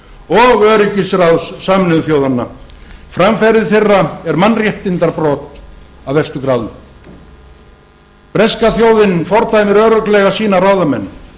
og öryggisráðs sameinuðu þjóðanna framferði þeirra er mannréttindabrot af verstu gráðu breska þjóðin fordæmir örugglega sína ráðamenn